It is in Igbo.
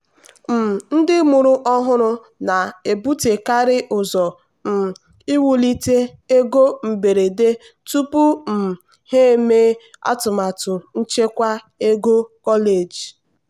um ndị mụrụ ọhụrụ na-ebutekarị ụzọ um iwulite ego mberede tupu um ha emee atụmatụ nchekwa ego kọleji.